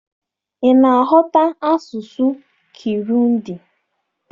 Ị ná-aghọta asụsụ Kirundi?